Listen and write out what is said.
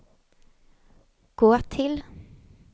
gå till